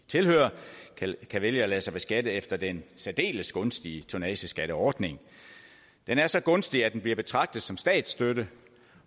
tilhører kan vælge at lade sig beskatte efter den særdeles gunstige tonnageskatteordning den er så gunstig at den bliver betragtet som statsstøtte